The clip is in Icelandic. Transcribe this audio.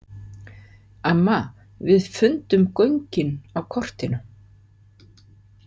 Amma, við fundum göngin á kortinu.